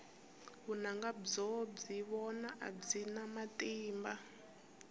vunanga byo byi vona a byi na matimba